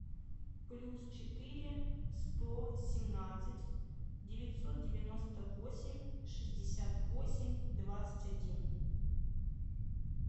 плюс четыре сто семнадцать девятьсот девяносто восемь шестьдесят восемь двадцать один